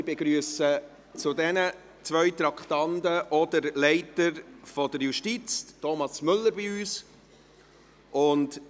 Ich begrüsse zu diesen zwei Traktanden auch den Vorsitzenden der Justizleitung, Thomas Müller, bei uns.